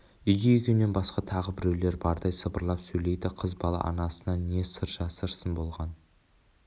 үйде екеуінен басқа тағы біреулер бардай сыбырлап сөйлейді қыз бала анасынан не сыр жасырсын болған